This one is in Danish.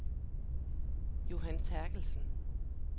Johan Terkelsen